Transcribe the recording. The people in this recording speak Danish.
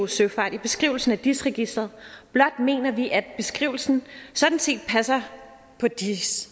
søfart i beskrivelsen af dis registeret blot mener vi at beskrivelsen sådan set passer på dis